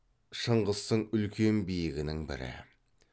шыңғыстың үлкен биігінің бірі